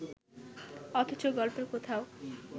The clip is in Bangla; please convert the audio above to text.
অথচ গল্পের কোথাও